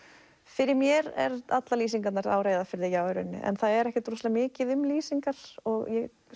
fyrir mér eru allar lýsingarnar já á Reyðarfirði en það er ekkert rosalega mikið um lýsingar og ég